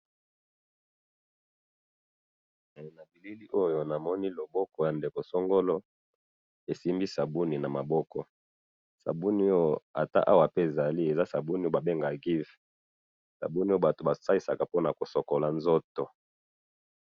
na elili oyo namoni loboko ya ndeko songolo esimbi sabuni na maboko sabuni ata awa pe ezali eza sabuni oyo ba bengaka Giv sabuni oyo batu ba salisaka bona ko sokola nzoto